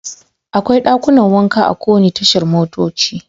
Akwai dakunan wanka a kowane tashar motoci.